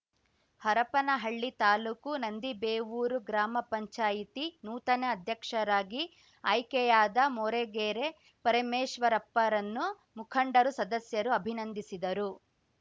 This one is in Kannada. ಹರಪನಹಳ್ಳಿ ತಾಲೂಕು ನಂದಿಬೇವೂರು ಗ್ರಾಮ ಪಂಚಾಯತಿ ನೂತನ ಅಧ್ಯಕ್ಷರಾಗಿ ಆಯ್ಕೆಯಾದ ಮೋರಗೇರೆ ಪರಮೇಶ್ವರಪ್ಪರನ್ನು ಮುಖಂಡರು ಸದಸ್ಯರು ಅಭಿನಂದಿಸಿದರು